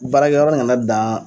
Baarakɛ yɔrɔ kana dan